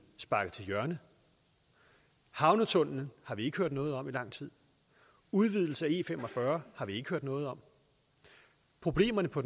sparket til hjørne havnetunnelen har vi ikke hørt noget om i lang tid udvidelsen af e45 har vi ikke hørt noget om problemerne på